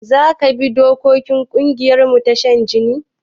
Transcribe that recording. Zaka bi dokokin ƙungiyarmu ta shan jini?